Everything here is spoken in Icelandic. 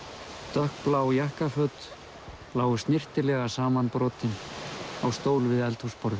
dökkblá jakkaföt lágu snyrtilega samanbrotin á stól við eldhúsborðið